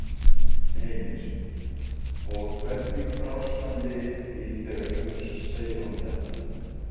Heimir: Og hvernig brást hann við því þegar þú segir honum þetta?